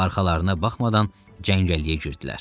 Və arxalarına baxmadan cəngəlliyə girdilər.